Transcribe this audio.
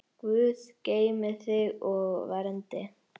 Guð geymi þig og verndi.